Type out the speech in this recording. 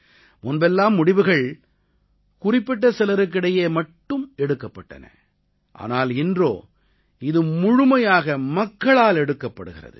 முன்பெல்லாம் முடிவுகள் குறிப்பிட்ட சிலருக்கிடையே மட்டும் எடுக்கப்பட்டன ஆனால் இன்றோ இது முழுமையாக மக்களால் எடுக்கப்படுகிறது